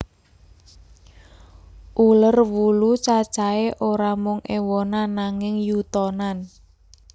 Uler wulu cacahé ora mung éwonan nanging yutonan